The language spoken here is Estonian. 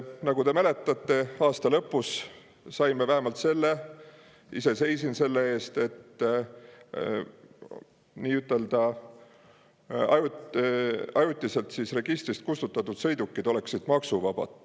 Nagu te mäletate, aasta lõpus saime vähemalt selle – ise seisin selle eest –, et ajutiselt registrist kustutatud sõidukid on maksuvabad.